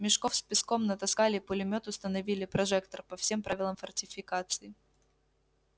мешков с песком натаскали пулемёт установили прожектор по всем правилам фортификации